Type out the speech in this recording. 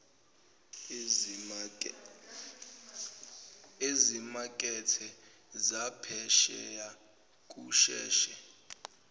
ezimakethe zaphesheya kusheshe